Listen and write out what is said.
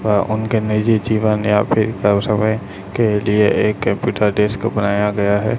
व उनके निजी जीवन या फिर कब समय के लिए एक कंप्यूटर डेस्क को बनाया गया है।